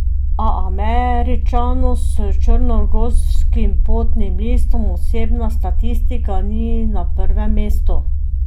A Američanu s črnogorskim potnim listom osebna statistika ni na prvem mestu.